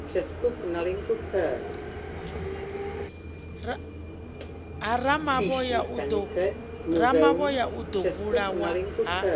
ramavhoya o ḓo vhulawa ha